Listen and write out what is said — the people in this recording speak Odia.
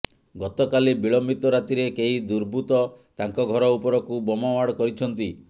ଗତକାଲି ବିଳମ୍ବିତ ରାତିରେ କେହି ଦୁର୍ବୃତ ତାଙ୍କ ଘର ଉପରକୁ ବୋମାମାଡ କରିଛନ୍ତି